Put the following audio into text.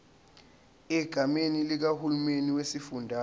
egameni likahulumeni wesifundazwe